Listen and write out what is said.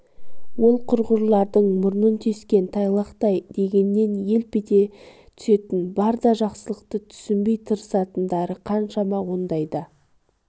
ол құрғырлардың мұрнын тескен тайлақтай дегеннен елп ете түсетін бар да жақсылықты түсінбей тыртысатындары қаншама ондайда